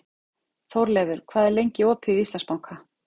Þórleifur, hvað er lengi opið í Íslandsbanka?